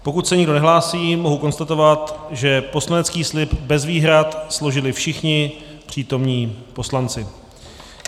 Pokud se nikdo nehlásí, mohu konstatovat, že poslanecký slib bez výhrad složili všichni přítomní poslanci.